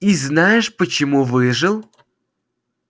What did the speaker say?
и знаешь почему выжил